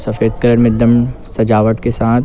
सफ़ेद कलर में एकदम सजावट के साथ--